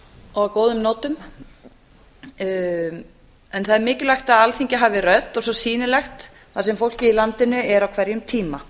á góðum nótum en það er mikilvægt að alþingi hafi rödd og svo sýnilegt þar sem fólkið í landinu er á hverjum tíma